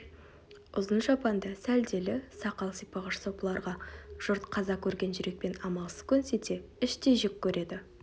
ұзын шапанды сәлделі сақал сипағыш сопыларға жұрт қаза көрген жүрекпен амалсыз көнсе де іштей жек көреді